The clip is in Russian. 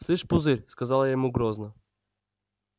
слышь пузырь сказала я ему грозно